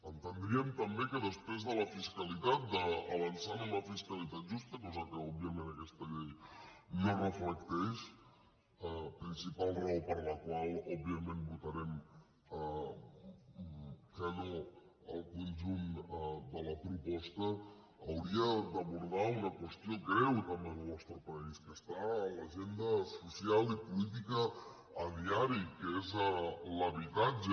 entendríem també que després de la fiscalitat d’avançar en una fiscalitat justa cosa que òbviament aquesta llei no reflecteix principal raó per la qual òbviament votarem que no al conjunt de la proposta hauria d’abordar una qüestió greu també en el nostre país que està a l’agenda social i política a diari que és l’habitatge